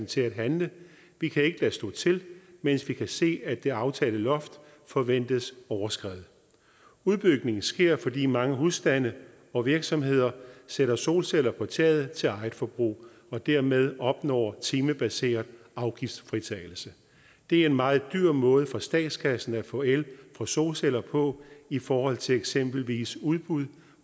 til at handle vi kan ikke lade stå til mens vi kan se at det aftalte loft forventes overskredet udbygningen sker fordi mange husstande og virksomheder sætter solceller på taget til eget forbrug og dermed opnår timebaseret afgiftsfritagelse det er en meget dyr måde for statskassen at få el på solceller på i forhold til eksempelvis udbud